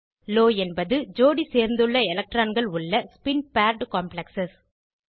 low என்பது ஜோடி சேர்ந்துள்ள எலக்ட்ரான்கள் உள்ள ஸ்பின் பேர்ட் காம்ப்ளெக்ஸ்